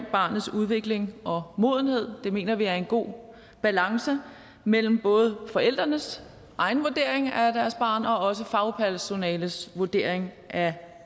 barnets udvikling og modenhed det mener vi er en god balance mellem både forældrenes egen vurdering af deres barn og også fagpersonalets vurdering af